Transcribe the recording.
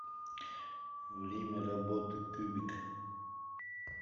время работы кубик